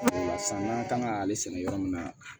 o la sisan n'an kan ka ale sɛnɛ yɔrɔ min na